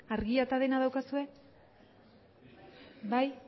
argia eta dena daukazue bai